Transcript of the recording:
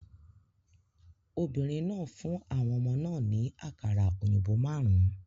Obìnrin náà fún àwọn ọmọ náà ní àkàrà òyìnbó márùn-ún